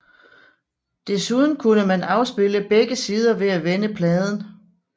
Desuden kunne man afspille begge sider ved at vende pladen